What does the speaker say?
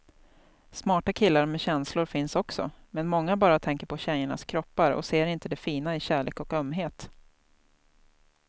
Smarta killar med känslor finns också, men många bara tänker på tjejernas kroppar och ser inte det fina i kärlek och ömhet.